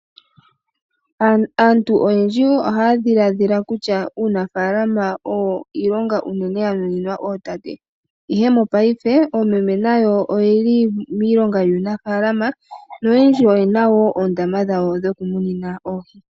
Aantu oyendji wo ohaya dhilaadhila kutya uunafaalama owo iilonga unene ya nuninwa ootate, ihe mopaife oomeme nayo oyeli miilonga yuunafaalama noyendji oyena wo oondama dhawo dhoku munina oohi.